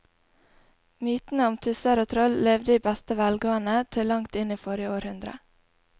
Mytene om tusser og troll levde i beste velgående til langt inn i forrige århundre.